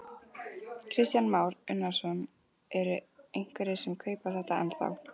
Kristján Már Unnarsson: Eru einhverjir sem kaupa þetta ennþá?